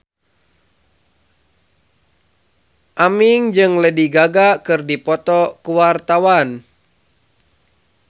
Aming jeung Lady Gaga keur dipoto ku wartawan